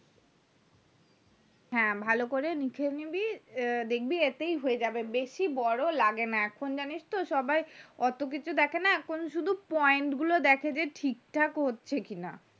হ্যাঁ ভালো করে লিখে নিবি দেখবি এটাই হয়ে যাবে বেশি বোরো এখন জানিস তো সবাই ওতো কিছু দেখেনা এখন শুধু দেখে যে point গুলো দেখে ঠিক থাকে হচ্ছে কি না